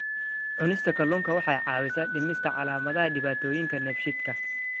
Cunista kalluunka waxa ay caawisaa dhimista calaamadaha dhibaatooyinka dheefshiidka.